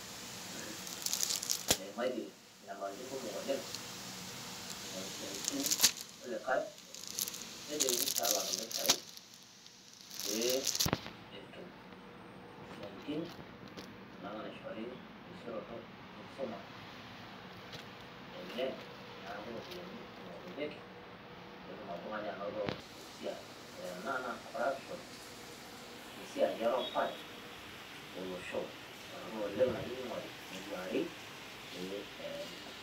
eimaitie nyamalitin kumok oleng ing'oru isiatinin. kulikae, nejokini pee elak impisai pee etum isiatin, anaa mishori terisioroto enkisuma. neeku iropiyiani ing'orunyeki, pee etum oltungani anoto esiai, ore ena naa corruption we siiai erupare olosho. torono oleng nayieu nigori neduari pee eye.